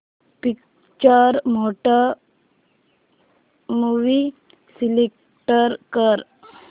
picture mode movie select कर